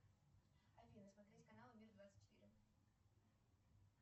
афина смотреть канал мир двадцать четыре